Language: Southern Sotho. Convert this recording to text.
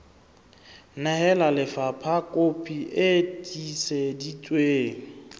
nehela lefapha kopi e tiiseditsweng